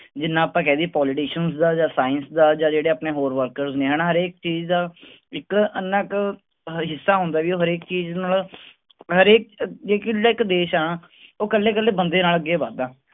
ਜਿੰਨਾ ਆਪਾਂ ਕਹਿ ਦੇਈਏ politicians ਦਾ ਜਾਂ science ਦਾ ਜਾਂ ਜਿਹੜੇ ਆਪਣੇ ਹੋਰ worker ਨੇ ਹਨਾ ਹਰੇਕ ਚੀਜ਼ ਦਾ ਇੱਕ ਇੰਨਾ ਕੁ ਹਿੱਸਾ ਹੁੰਦਾ ਵੀ ਉਹ ਹਰੇਕ ਚੀਜ਼ ਨਾਲ ਹਰੇਕ ਦੇਸ ਆ ਉਹ ਇਕੱਲੇ ਇਕੱਲੇ ਬੰਦੇ ਨਾਲ ਅੱਗੇ ਵੱਧਦਾ।